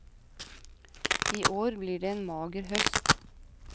I år blir det en mager høst.